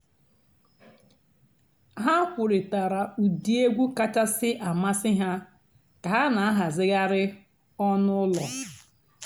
há kwùrị́tárá ụ́dị́ ègwú kàchàsị́ àmásị́ há kà há nà-àhàzị́ghàrị́ ọ̀nú́ ụ́lọ́.